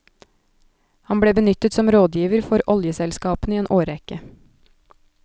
Han ble benyttet som rådgiver for oljeselskapene i en årrekke.